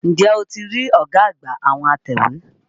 N jẹ́ o ti rí ọ̀gá àgbà àwọn atẹ̀wé?